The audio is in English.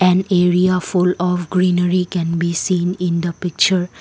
an area full of greenery can be seen in the picture.